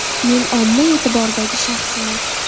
Men omma e’tiboridagi shaxsman.